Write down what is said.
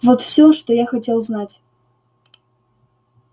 вот всё что я хотел знать